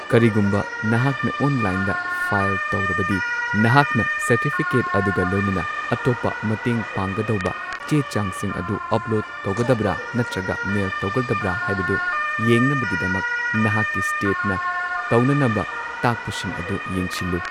ꯀꯔꯤꯒꯨꯝꯕ ꯅꯍꯥꯛꯅ ꯑꯣꯟꯂꯥꯏꯟꯗ ꯐꯥꯏꯜ ꯇꯧꯔꯕꯗꯤ, ꯅꯍꯥꯛꯅ ꯁꯔꯇꯤꯐꯤꯀꯦꯠ ꯑꯗꯨꯒ ꯂꯣꯏꯅꯅ ꯑꯇꯣꯞꯄ ꯃꯇꯦꯡ ꯄꯥꯡꯒꯗꯧꯕ ꯆꯦ ꯆꯥꯡꯁꯤꯡ ꯑꯗꯨ ꯑꯄꯂꯣꯗ ꯇꯧꯒꯗꯕ꯭ꯔꯥ ꯅꯠꯇ꯭ꯔꯒ ꯃꯦꯜ ꯇꯧꯒꯗꯕ꯭ꯔꯥ ꯍꯥꯏꯕꯗꯨ ꯌꯦꯡꯅꯕꯒꯤꯗꯃꯛ ꯅꯍꯥꯛꯀꯤ ꯁ꯭ꯇꯦꯇꯅ ꯇꯧꯅꯅꯕ ꯇꯥꯛꯄꯁꯤꯡ ꯑꯗꯨ ꯌꯦꯡꯁꯤꯜꯂꯨ꯫